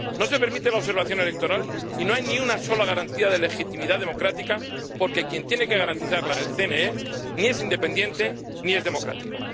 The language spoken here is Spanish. No se permite la observación electoral y no hay ni una sola garantía de legitimidad democrática, porque quien tiene que garantizarla —el CNE— ni es independiente ni es democrático.